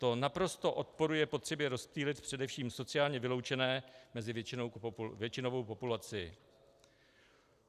To naprosto odporuje potřebě rozptýlit především sociálně vyloučené mezi většinovou populaci.